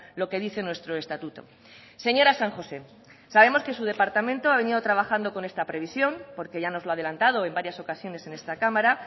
lo que dicen nuestro estatuto señora san josé sabemos que su departamento ha venido trabajando con esta previsión porque ya nos lo ha adelantado en varias ocasiones en esta cámara